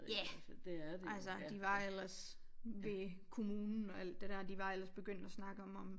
Ja altså de var ellers ved kommunen og alt det dér de var ellers begyndt at snakke om om